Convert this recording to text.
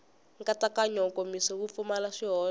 nkatsakanyo nkomiso wu pfumala swihoxo